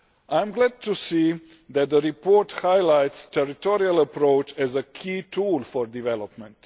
I am glad to see that the report highlights the territorial approach as a key tool for development.